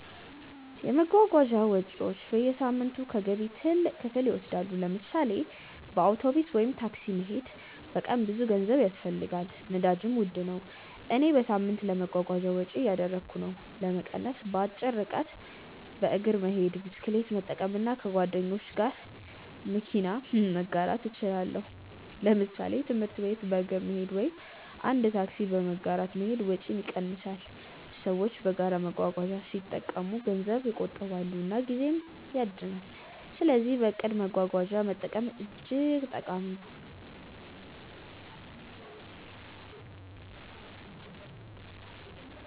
የመጓጓዣ ወጪዎች በየሳምንቱ ከገቢ ትልቅ ክፍል ይወስዳሉ። ለምሳሌ በአውቶቡስ ወይም ታክሲ መሄድ በቀን ብዙ ገንዘብ ያስፈልጋል፣ ነዳጅም ውድ ነው። እኔ በሳምንት ለመጓጓዣ ወጪ እያደረግሁ ነው። ለመቀነስ በአጭር ርቀት በእግር መሄድ፣ ብስክሌት መጠቀም እና ከጓደኞች ጋር መኪና መጋራት እችላለሁ። ለምሳሌ ትምህርት ቤት በእግር መሄድ ወይም አንድ ታክሲ በመጋራት መሄድ ወጪን ይቀንሳል። ሰዎች በጋራ መጓጓዣ ሲጠቀሙ ገንዘብ ይቆጥባሉ እና ጊዜም ይድናል። ስለዚህ በእቅድ መጓጓዣ መጠቀም እጅግ ጠቃሚ ነው።